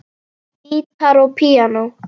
Gítar og píanó.